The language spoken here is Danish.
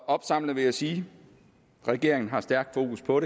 opsamling vil jeg sige at regeringen har stærk fokus på